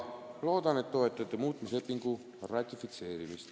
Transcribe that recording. Loodan, et toetate muutmislepingu ratifitseerimist.